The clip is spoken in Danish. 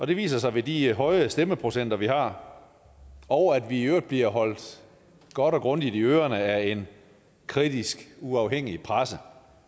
det viser sig ved de høje stemmeprocenter vi har og at vi i øvrigt bliver holdt godt og grundigt i ørerne af en kritisk og uafhængig presse